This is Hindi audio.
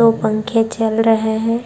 दो पंखे चल रहे हैं।